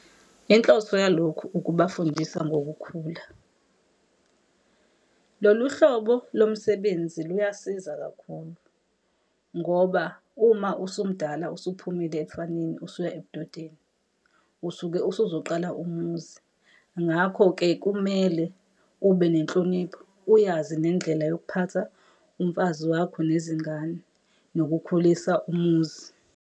Inhloso yalokhu ukubafundisa ngokukhula. Lolu hlobo lomsebenzi luyasiza kakhulu, ngoba uma usumdala usuphumile ebufaneni usuya ebudodeni, usuke usuzoqala umuzi. Ngakho-ke kumele ube nenhlonipho, uyazi nendlela yokuphatha umfazi wakho nezingane, nokukhulisa umuzi.